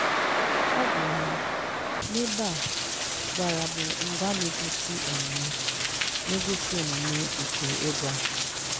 Ọ gwara m – N'ebe a, “gwara” bụ ngwaa na-egosi omume na-egosi omume nke ịgwa.